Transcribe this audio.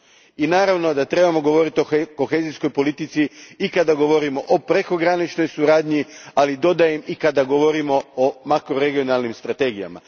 I naravno da trebamo govoriti o kohezijskoj politici i kada govorimo o prekograničnoj suradnji, ali dodajem i kada govorimo o makroregionalnim strategijama.